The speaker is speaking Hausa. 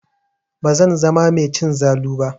Bazan zama mai cin zalu ba.